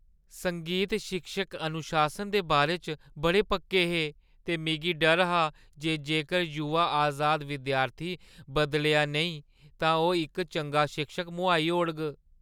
संगीत शिक्षक अनुशासन दे बारे च बड़े पक्के हे, ते मिगी डर हा जे जेकर युवा अजाद विद्यार्थी बदलेआ नेईं तां ओह् इक चंगा शिक्षक मुहाई ओड़ग।